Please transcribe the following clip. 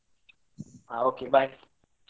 ಹಾ okay bye .